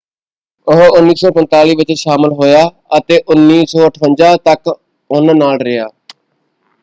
ਉਹ 1945 ਵਿੱਚ ਸ਼ਾਮਲ ਹੋਇਆ ਅਤੇ 1958 ਤੱਕ ਉਹਨਾਂ ਨਾਲ ਰਿਹਾ।